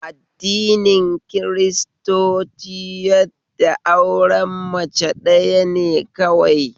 Addini kiristoci yadda da auren mace ɗaya ne kawai